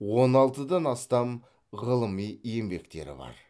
он алтыдан астам ғылыми еңбектері бар